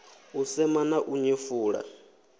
u sema na u nyefula